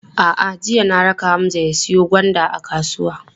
A'a, jiya na raka Hamza ya siyo gwanda kasuwa.